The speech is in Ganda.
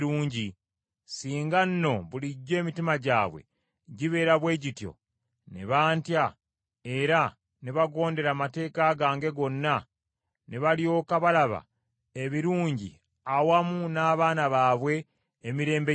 Singa nno bulijjo emitima gyabwe gibeera bwe gityo; ne bantya, era ne bagonderanga amateeka gange gonna, ne balyoka balaba ebirungi awamu n’abaana baabwe emirembe gyonna!